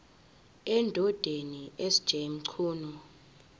endodeni sj mchunu